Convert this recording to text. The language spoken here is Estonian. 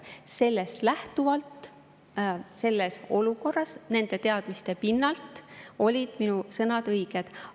Sellest lähtuvalt ja selles olukorras, nende teadmiste pinnalt olid minu sõnad õiged.